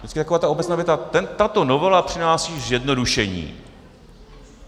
Vždycky taková ta obecná věta - tato novela přináší zjednodušení.